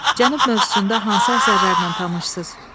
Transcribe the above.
Cənub mövzusunda hansı əsərlərlə tanışsız?